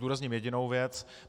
Zdůrazním jedinou věc.